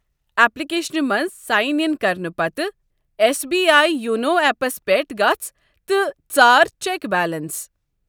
اٮ۪پلِکیشنہِ منٛز sign in کرنہٕ پتہٕ S B I YONO apps پٮ۪ٹھ گژھ تہٕ ژارچٮ۪ک بیلنس۔